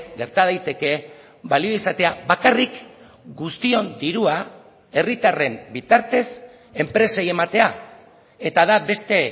gerta daiteke balio izatea bakarrik guztion dirua herritarren bitartez enpresei ematea eta da beste